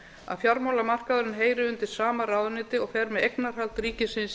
að fjármálamarkaðurinn heyri undir sama ráðuneyti og fer með eignarhald ríkisins